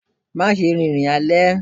má ṣe rìn ní alé!